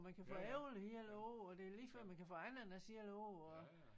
Og man kan få æbler hele æ år og det er lige før man kan få ananas hele æ år og